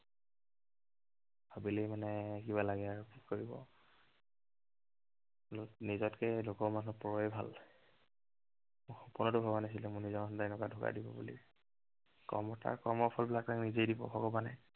ভাবিলেই মানে কিবা লাগে আৰু কি কৰিব। বোলো নিজতকে লোকৰ মানুহ পৰয়েই ভাল। মই সপোনতো ভবা নাছিলো মোৰ নিজৰ মানুহেই এনেকুৱা ধৌকা দিব বুলি। কৰ্ম তাৰ কৰ্মফল বিলাক নিজেই দিব ভগৱানে।